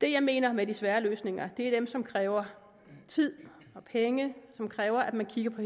det jeg mener med de svære løsninger er dem som kræver tid og penge som kræver at man kigger på